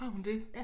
Har hun det